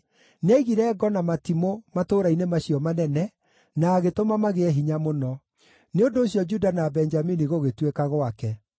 Nĩaigire ngo na matimũ matũũra-inĩ macio manene, na agĩtũma magĩe hinya mũno. Nĩ ũndũ ũcio Juda na Benjamini gũgĩtuĩka gwake.